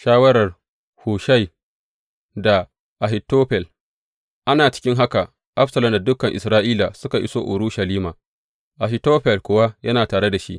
Shawarar Hushai da Ahitofel Ana cikin haka, Absalom da dukan Isra’ila suka iso Urushalima, Ahitofel kuwa yana tare da shi.